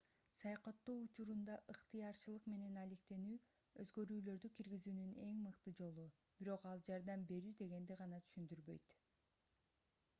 саякаттоо учурунда ыктыярчылык менен алектенүү өзгөрүүлөрдү киргизүүнүн мыкты жолу бирок ал жардам берүү дегенди гана түшүндүрбөйт